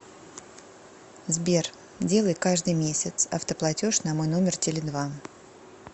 сбер делай каждый месяц автоплатеж на мой номер теле два